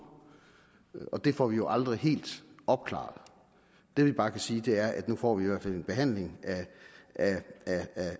det får vi jo aldrig helt opklaret det vi bare kan sige er at nu får vi i hvert fald en behandling